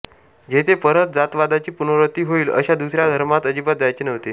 जेथे परत जातवादाची पुनरावृत्ती होईल अशा दुसऱ्या धर्मात अजिबात जायचे नव्हते